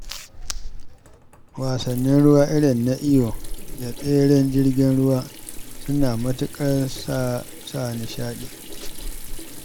Wasannin ruwa irin su iyo da tseren jirgin ruwa suna matuƙar sa nishaɗi.